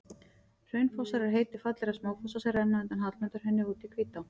Hraunfossar er heiti fallegra smáfossa sem renna undan Hallmundarhrauni út í Hvítá.